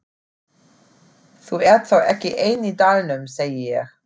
Þú ert þá ekki ein í dalnum, segi ég.